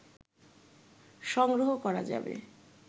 সংগ্রহ করা যাবে